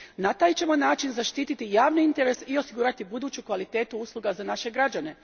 Na taj ćemo način zaštititi javni interes i osigurati buduću kvalitetu usluga za naše građane.